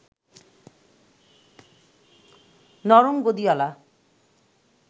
নরম গদিঅলা